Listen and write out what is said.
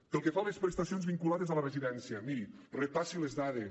pel que fa a les prestacions vinculades a la residència miri repassi les dades